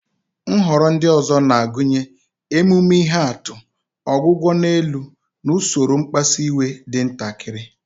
Nhọrọ ndị ọzọ na-agụnye emume ihe atụ, ọgwụgwọ n'elu, na usoro mkpasu iwe dị ntakịrị.